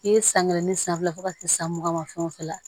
I ye san kelen ni san fila fo ka taa se san mugan ma fɛn o fɛn na